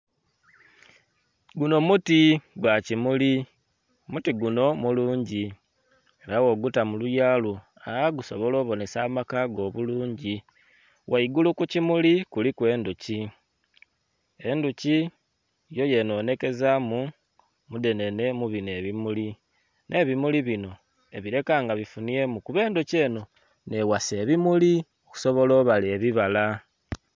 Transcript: Gunho muti gwa kimuli. Muti gunho mulungi era bwoguta mu luya lwo gusobola obonhesa amaka go obulungi. Ghaigulu ku kimuli kuliku endhuki. Endhuki yo yenhonhekezaamu mudhenhenhe mu bino ebimuli. Nh'ebimuli bino ebileka nga bifunhyemu kuba endhuki enho nh'eghasa ebimuli okusobola obala ebibala.